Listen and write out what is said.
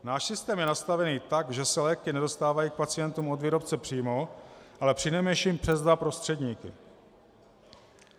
Náš systém je nastavený tak, že se léky nedostávají k pacientům od výrobce přímo, ale přinejmenším přes dva prostředníky.